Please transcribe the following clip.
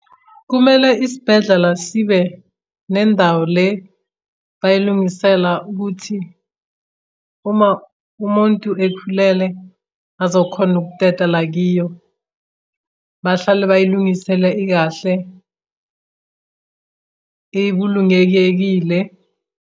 Kumele isibhedlela sibe nendawo le bayilungisela ukuthi uma umuntu ekhulele azokhona ukuteta la kiyo. Bahlale bayilungisele ikahle ikulungekekile.